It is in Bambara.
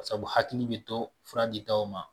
Sabu hakili bɛ to fura ditaw ma